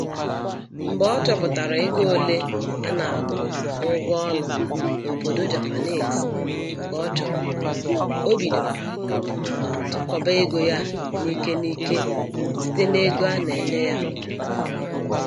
Mgbe ọ chọpụtachara ego ole a na-akwụ n'ụgwọ ụlọ n'obodo Japanese nke ọ chọrọ, o bidoro tụkọọba ego ya n'ike n'ike site n'ego a na-enye ya kwa ọnwa.